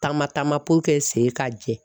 Taama taama puruke sen k'a jɛ.